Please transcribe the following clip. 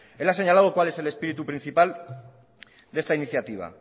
él ha señalado cuál es el espíritu principal de esta iniciativa